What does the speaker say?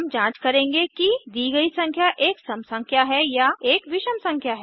हम जांच करेंगे कि दी गई संख्या एक सम संख्या है या एक विषम संख्या है